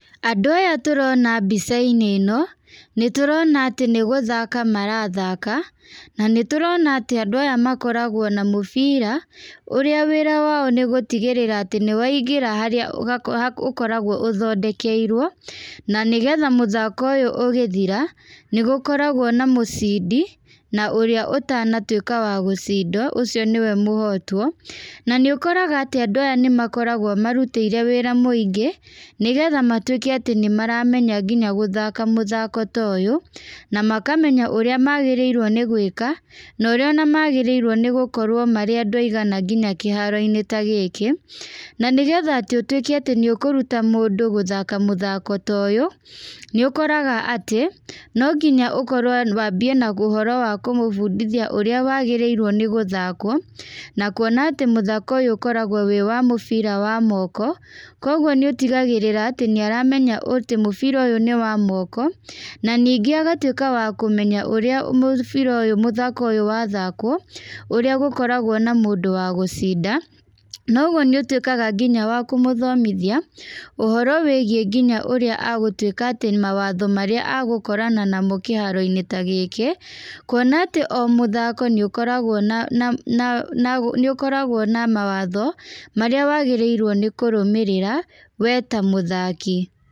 Andũ aya tũrona mbica-inĩ ĩno, nĩ tũrona atĩ nĩ gũthaka marathaka, na nĩ tũrona atĩ andũ aya makoragwo na mũbira, ũrĩa wĩra wao nĩ gũtigĩrĩra atĩ nĩ waingĩra harĩa ũkoragwo ũthendekeirwo, na nĩgetha mũthako ũyũ ũgĩthira, nĩ gũkoragwo na mũcindi, na ũrĩa ũtanatuĩka wa gũcindwo, ũcio nĩwe mũhotwo. Na nĩ ũkoraga atĩ andũ aya nĩ makoragwo marutĩire wĩra mũingĩ, nĩgetha matuĩke atĩ nĩ maramenya nginya gũthaka mũthaka ta ũyũ, na makamenya ũrĩa magĩrĩirwo nĩ gwĩka, na ũrĩa ona magĩrĩirwo nĩ gũkorwo marĩ andũ aigana nginya kĩharo-inĩ ta gĩkĩ. Na nĩgetha atĩ ũtuĩke atĩ nĩ ũkũruta kũruta mũndũ gũthaka mũthaka ta ũyũ, nĩ ũkoraga atĩ, no nginya ũkorwo wambie na ũhoro wa kũmũbundithia ũrĩa wagĩrĩirwo nĩ gũthakwo. Na kuona atĩ mũthako ũyũ ũkoragwo wĩ wa mũbira wa moko, kũguo nĩ ũtigagĩrĩra atĩ nĩ aramenya atĩ mũbira ũyũ nĩ wa moko. Na nigĩ agatuĩka wa kũmenya ũrĩa mũbira ũyũ mũthako ũyũ wathakũo, ũrĩa gũkoragwo na mũndũ wa gũcinda. Na ũguo nĩ ũtuĩkaga nginya wa kũmũthomithia, ũhoro wĩgiĩ nginya ũrĩa agũtuĩka atĩ mawatho marĩa agũkorana namo kĩharo-inĩ ta gĩkĩ. Kuona atĩ o mũthako nĩ ũkoragwo na na na na nĩ ũkoragwo na mawatho, marĩa wagĩrĩirwo nĩ kũrũmĩrĩra, we ta mũthaki.